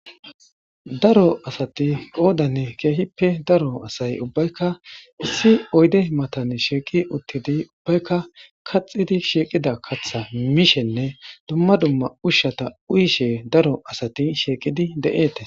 Daro asati qoodane keehippe daro asay ubbaykka issi oyde matan sheeqi uttidi ubbaykka kaxidi sheeqida katha mishenne dumma dumma ushshata uyishe daro asati sheeqidi de7eete.